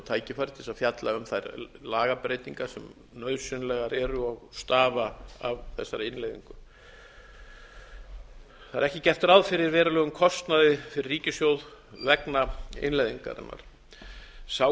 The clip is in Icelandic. tækifæri til að fjalla um þær lagabreytingar sem nauðsynlegar eru og stafa af þessari innleiðingu það er ekki gert ráð fyrir verulegum kostnaði fyrir ríkissjóð vegna innleiðingarinnar sá